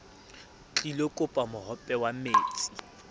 tlilo kopa mohope wa metsi